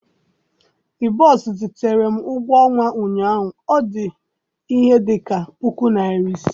i boss zitere m ụgwọ ọnwa ụnyahụ, ọ dị ihe dị ka puku naira ise